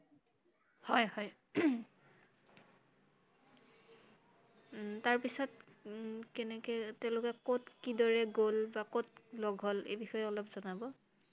হয় হয় তাৰ পিচত উম কেনেকে তেওঁলোকে কʼত কি দৰে গʼল বা কʼত লগ হʼল এই বিষয়ে অলপ জনাব I